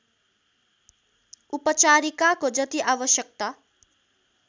उपचारिकाको जति आवश्यकता